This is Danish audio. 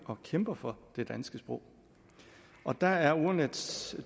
at kæmpe for det danske sprog og der er ordnetdks